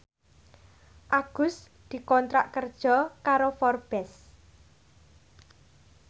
Agus dikontrak kerja karo Forbes